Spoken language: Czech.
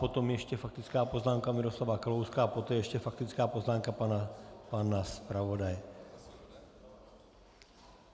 Potom ještě faktická poznámka Miroslava Kalouska a poté ještě faktická poznámka pana zpravodaje.